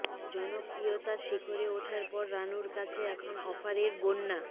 জনপ্রিয়তার শিখরে ওঠার পর রাণুর কাছে এখন অফারের বন্যা